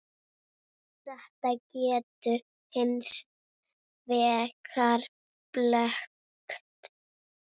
Þetta getur hins vegar blekkt.